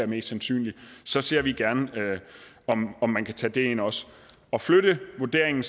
mest sandsynligt så ser vi gerne på om om man kan tage det ind også at flytte vurderingen